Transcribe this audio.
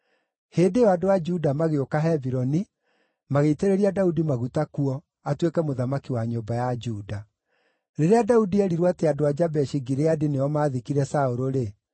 Hĩndĩ ĩyo andũ a Juda magĩũka Hebironi, magĩitĩrĩria Daudi maguta kuo, atuĩke mũthamaki wa nyũmba ya Juda. Rĩrĩa Daudi eerirwo atĩ andũ a Jabeshi-Gileadi nĩo maathikire Saũlũ-rĩ,